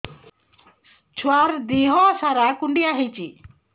ଛୁଆର୍ ଦିହ ସାରା କୁଣ୍ଡିଆ ହେଇଚି